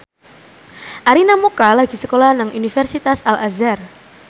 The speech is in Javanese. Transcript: Arina Mocca lagi sekolah nang Universitas Al Azhar